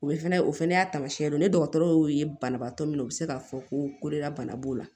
O bɛ fɛnɛ o fɛnɛ y'a taamasiyɛn dɔ ye ne dɔgɔtɔrɔ y'o ye banabaatɔ min na o bɛ se k'a fɔ ko de la bana b'o la